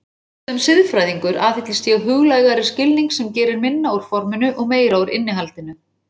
Sem siðfræðingur aðhyllist ég huglægari skilning sem gerir minna úr forminu og meira úr innihaldinu.